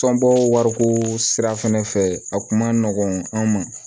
Tɔnbɔ wariko sira fɛnɛ fɛ a kuma nɔgɔn an ma